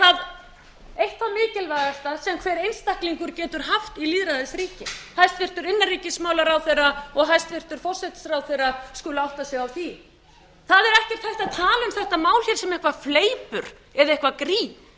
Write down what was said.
sem hver einstaklingur getur haft í lýðræðisríki hæstvirtur innanríkismálaráðherra og hæstvirtur forsætisráðherra skulu átta sig á því það er ekkert hægt að tala um þetta mál hér sem eitthvað fleipur eða eitthvað grín